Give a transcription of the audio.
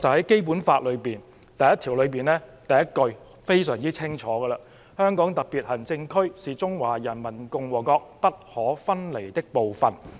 《基本法》第一條第一句已清晰訂明這條"紅線"的存在："香港特別行政區是中華人民共和國不可分離的部分。